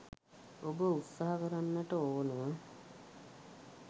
ඔබ උත්සාහ කරන්නට ඕන.